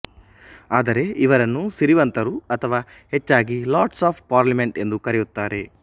ಆದರೆ ಇವರನ್ನು ಸಿರಿವಂತರುಅಥವಾ ಹೆಚ್ಚಾಗಿ ಲಾರ್ಡ್ಸ್ ಆಫ್ ಪಾರ್ಲಿಮೆಂಟ್ ಎಂದು ಕರೆಯುತ್ತಾರೆ